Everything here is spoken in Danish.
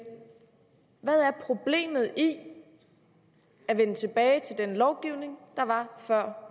hvad er problemet i at vende tilbage til den lovgivning der var før